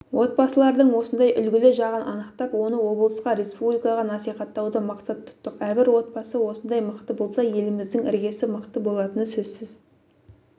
отбасылардың осындай үлгілі жағын анықтап оны облысқа республикаға насихаттауды мақсат тұттық әрбір отбасы осындай мықты болса еліміздің іргесі мықты болатыны сөзсіз